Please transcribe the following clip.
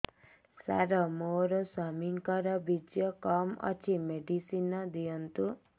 ସାର ମୋର ସ୍ୱାମୀଙ୍କର ବୀର୍ଯ୍ୟ କମ ଅଛି ମେଡିସିନ ଦିଅନ୍ତୁ